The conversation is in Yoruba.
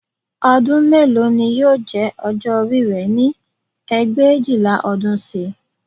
Ọdún mélòó ni yóò jẹ́ ọjọ́ orí rẹ ní ẹgbẹ̀éjìlá ọdún sí i